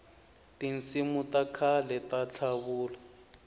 tinsimu takhale tatlavula